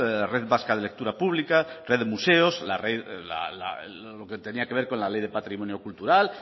la red vasca de lectura pública red de museos lo que tenía que ver con la ley de patrimonio cultural